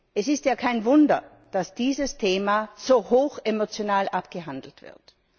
Es ist ja kein Wunder, dass dieses Thema so hochemotional abgehandelt wird.